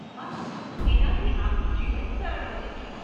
વાહ, એનાથી આપનું જીવન સરળ બને છે.